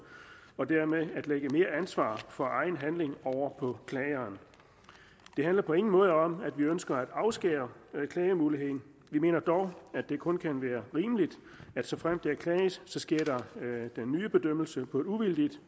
og dermed at lægge mere ansvar for egen handling over på klageren det handler på ingen måde om at vi ønsker at afskære klagemuligheden vi mener dog at det kun kan være rimeligt at såfremt der klages sker den nye bedømmelse på et uvildigt